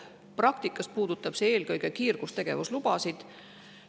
Praktikas puudutab see eelkõige kiirgustegevuslubasid.